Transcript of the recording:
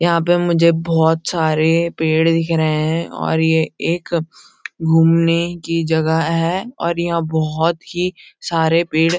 यहाँ पे मुझे बहोत सारे पेड़ दिख रहे हैं और ये एक घूमने की जगह है और यहाँ बहुत ही सारे पेड़ --